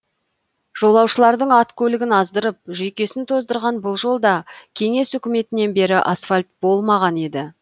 жолаушылардың ат көлігін аздырып жүйкесін тоздырған бұл жолда кеңес үкіметінен бері асфальт болмаған еді